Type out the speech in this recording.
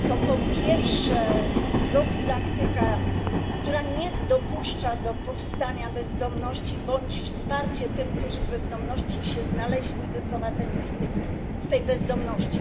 To po pierwsze profilaktyka, która nie dopuszcza do powstania bezdomności, oraz wspieranie tych, którzy w bezdomności się znaleźli, i wyprowadzenie ich z tej bezdomności.